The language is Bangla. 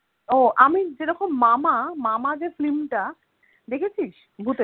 ও আমি যেরকম মামা মামা যে film টা দেখেছিস?